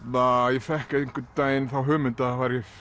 ég fékk einhvern daginn þá hugmynd að það væri